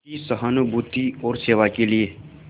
की सहानुभूति और सेवा के लिए